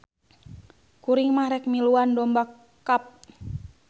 Kuring mah rek miluan domba cup